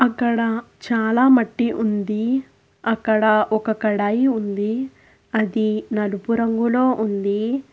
ఇక్కడ చాలా మట్టి ఉంది అక్కడ ఒక కడాయి ఉంది అది నలుపు రంగులో ఉంది.